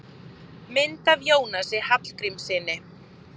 Mynd af Jónasi Hallgrímssyni.